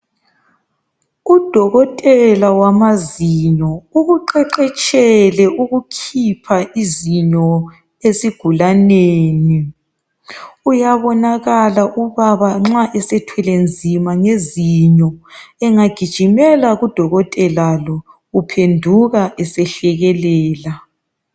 Udokotela wamazinyo ukuqeqetshele ukukhipha izinyo esigulaneni. Uyabonakala ubaba nxa esethwele nzima ngezinyo, egijimela kudokotela lo, uphenduka esehlekelela.